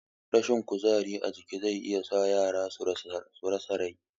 Rashin kuzari a jiki zai iya sa yara su rasa rai